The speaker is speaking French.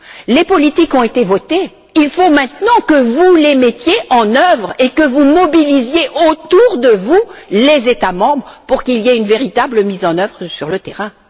Les politiques ont été votées, il faut maintenant que vous les mettiez en œuvre et que vous mobilisiez autour de vous les États membres pour qu'il y ait une véritable mise en œuvre sur le terrain.